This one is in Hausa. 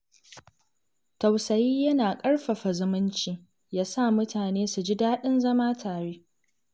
Tausayi yana ƙarfafa zumunci, ya sa mutane su ji daɗin zama tare.